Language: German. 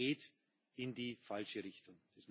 Die Türkei geht in die falsche Richtung.